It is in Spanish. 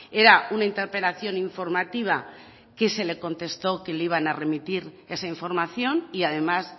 era una interpelación informativa que se le contestó que le iban a remitir esa información y además